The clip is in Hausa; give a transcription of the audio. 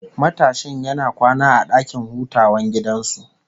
Matashin yana kwana a dakin hutawan gidan su